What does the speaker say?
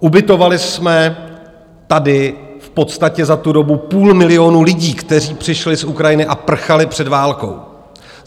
Ubytovali jsme tady v podstatě za tu dobu půl milionu lidí, kteří přišli z Ukrajiny a prchali před válkou.